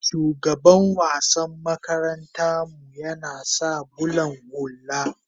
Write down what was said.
shugaban wassan makaranta mu yana sa bulan hulla